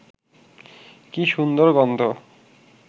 কী সুন্দর গন্ধ